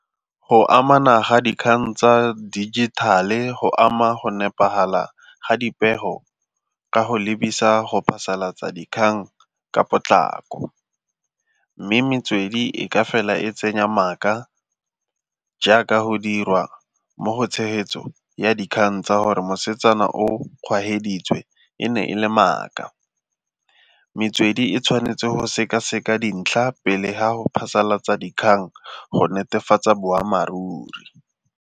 Go amana ga dikgang tsa dijithale go ama go nepagala ga dipego ka go lebisa go phasalatsa dikgang ka potlako, mme metswedi e ka fela e tsenya maaka jaaka go dirwa mo go tshegetso ya dikgang tsa gore mosetsana o kgwageditswe e ne e le maaka. Metswedi e tshwanetse go sekaseka dintlha pele ga go phasalatsa dikgang go netefatsa boammaaruri.